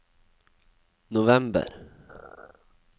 november